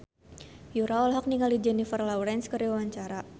Yura olohok ningali Jennifer Lawrence keur diwawancara